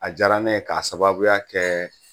A diyara ne k'a sababuya kɛ